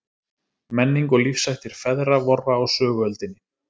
Menning og lífshættir feðra vorra á söguöldinni.